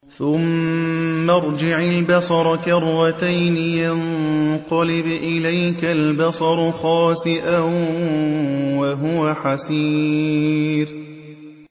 ثُمَّ ارْجِعِ الْبَصَرَ كَرَّتَيْنِ يَنقَلِبْ إِلَيْكَ الْبَصَرُ خَاسِئًا وَهُوَ حَسِيرٌ